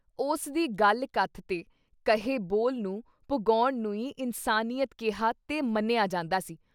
ਉਸ ਦੀ ਗੱਲ-ਕਥ ਤੇ ਕਹੇ ਬੋਲ ਨੂੰ ਪੁਗੌਣ ਨੂੰ ਈ ਇਨਸਾਨੀਅਤ ਕਿਹਾ ਤੇ ਮੰਨਿਆ ਜਾਂਦਾ ਸੀ।